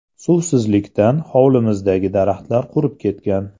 Suvsizlikdan hovlimizdagi daraxtalar qurib ketgan.